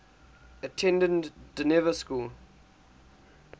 attended dynevor school